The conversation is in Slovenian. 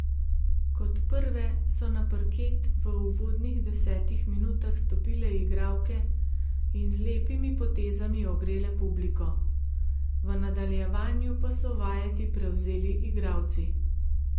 Kot prve so na parket v uvodnih desetih minutah stopile igralke in z lepimi potezami ogrele publiko, v nadaljevanju pa so vajeti prevzeli igralci.